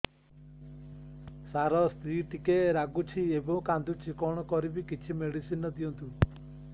ସାର ସ୍ତ୍ରୀ ଟିକେ ରାଗୁଛି ଏବଂ କାନ୍ଦୁଛି କଣ କରିବି କିଛି ମେଡିସିନ ଦିଅନ୍ତୁ